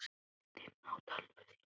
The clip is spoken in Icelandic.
Sett inn á tölvuna þína.